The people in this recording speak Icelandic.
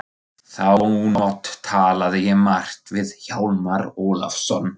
Þá nótt talaði ég margt við Hjálmar Ólafsson.